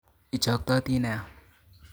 Ichoktoti nia